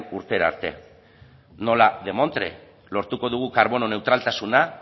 urtera arte nola demontre lortuko dugu karbono neutraltasuna